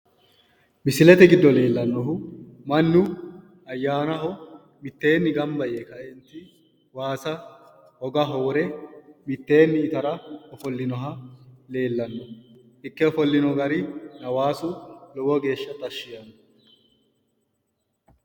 Misilete giddo leellannohu mannu ayyaanaho mitteenni gamba yee kaenti waasa hogaho wore mitteenni itara ofollinoha leellanno. Ikke ofollino gari hawaasu lowo geeshsha tashshi yaanno.